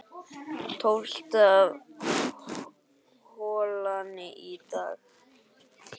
Tólfta holan í dag